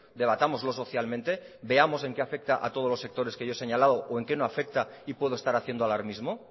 debatámoslo socialmente veamos en qué afecta a todos los sectores que yo he señalado o en qué no afecta y puedo estar haciendo alarmismo